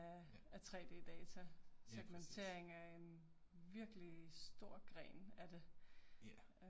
Ja, lige præcis. Ja